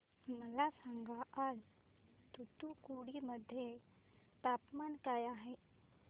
मला सांगा आज तूतुकुडी मध्ये तापमान काय आहे